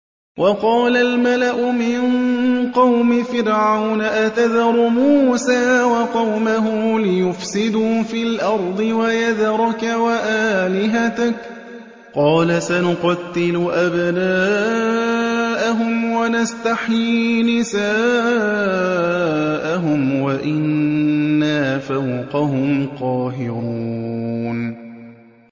وَقَالَ الْمَلَأُ مِن قَوْمِ فِرْعَوْنَ أَتَذَرُ مُوسَىٰ وَقَوْمَهُ لِيُفْسِدُوا فِي الْأَرْضِ وَيَذَرَكَ وَآلِهَتَكَ ۚ قَالَ سَنُقَتِّلُ أَبْنَاءَهُمْ وَنَسْتَحْيِي نِسَاءَهُمْ وَإِنَّا فَوْقَهُمْ قَاهِرُونَ